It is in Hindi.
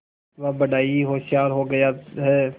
वह बड़ा ही होशियार हो गया है